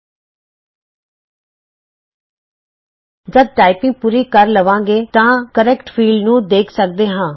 ਜਦ ਅਸੀਂ ਟਾਈਪਿੰਗ ਪੂਰੀ ਕਰ ਲਵਾਂਗੇ ਤਾਂ ਅਸੀਂ ਸਹੀ ਖੇਤਰ ਨੂੰ ਦੇਖ ਸਕਦੇ ਹਾਂ